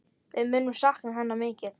Við munum sakna hennar mikið.